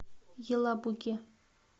елабуге